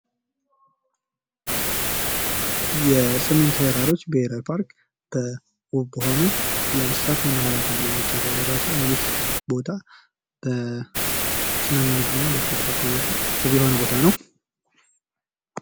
የሰሜን ተራሮች ብሔራዊ ፓርክ በዉብ በሆኑ እንስሳት መናሀሪያ ተብሎ የሚጠራ ቦታ ሲሆን ይህ ቦታ በስነ ምድሩ እና ተፈጥሯዊ አቀማመጡ ዉብ የሆነ ቦታ ነው::